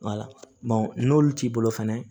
n'olu t'i bolo fɛnɛ